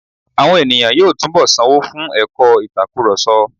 Àwọn ènìyàn yóò túnbọ̀ sanwó fún ẹ̀kọ́ ìtakurọ̀sọ.